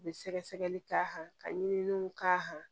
U bɛ sɛgɛsɛgɛli k'a kan ka ɲini k'a